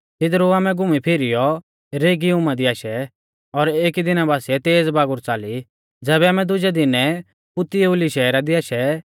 तिदरु आमै घुमीफीरीयौ रेगीयुमा दी आशै और एकी दिना बासिऐ तेज़ बागुर च़ाली तैबै आमै दुजै दिनै पुतियुली शहरा दी आशै